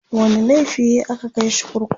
wani laifi yayi a ka Kai shi kurkuku?